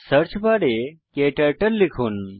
search বারে ক্টার্টল লিখুন